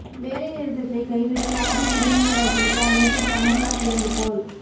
வேலை நிறுத்தத்தை கைவிட லாரி உரிமையாளர்களுக்கு அமைச்சர் கமல் நாத் வேண்டுகோள்